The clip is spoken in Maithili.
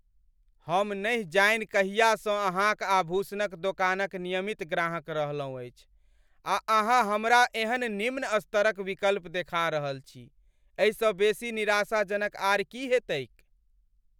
हम नहि जानि कहियासँ अहाँक आभूषणक दोकानक नियमित ग्राहक रहलहुँ अछि, आ अहाँ हमरा एहन निम्न स्तर क विकल्प देखा रहल छी? एहिसँ बेसी निराशाजनक आर की हेतैक ?